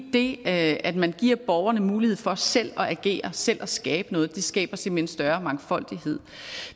det at man giver borgerne mulighed for selv at agere selv at skabe noget skaber simpelt hen større mangfoldighed